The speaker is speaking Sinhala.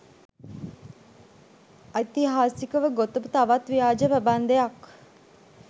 ඓතිහාසිකව ගොතපු තවත් ව්‍යාජ ප්‍රබන්ධයක්.